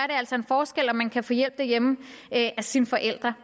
altså en forskel om man kan få hjælp derhjemme af sine forældre